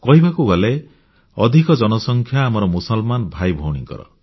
କହିବାକୁ ଗଲେ ଅଧିକ ଜନସଂଖ୍ୟା ଆମର ମୁସଲମାନ ଭାଇ ଭଉଣୀଙ୍କର